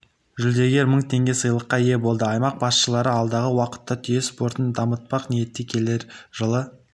жүлдегер мың теңге сыйлыққа ие болды аймақ басшылары алдағы уақытта түйе спортын дамытпақ ниетте келер жылы